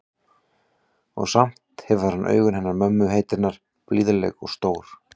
Og samt hefur hann augun hennar mömmu heitinnar, blíðleg og stór.